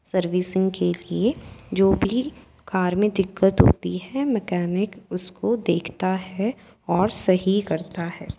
Servicing के लिए जो भी कार में दिक्कत होती है मैकेनिक उसको देखता है और सही करता है।